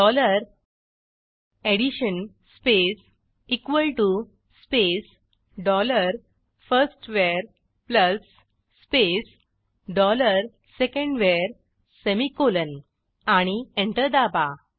dollar addition space equal T O space dollar फर्स्टवर plus space dollar सेकंडवर semicolonआणि enter दाबा